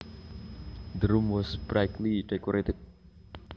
The room was brightly decorated